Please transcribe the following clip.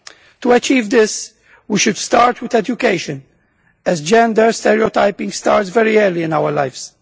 To achieve this, we should start with education, as gender stereotyping starts very early in our lives.